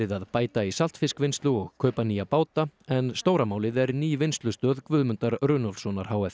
að bæta í saltfiskvinnslu og kaupa nýja báta en stóra málið er ný vinnslustöð Guðmundar Runólfssonar h f